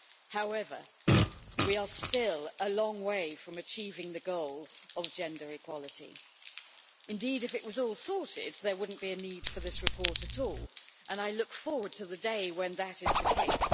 However, we are still a long way from achieving the goal of gender equality. Indeed, if it was all sorted, there would not be a need for this report at all, and I look forward to the day when that is the case.